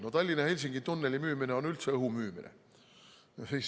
No Tallinna–Helsingi tunneli müümine on üldse õhu müümine.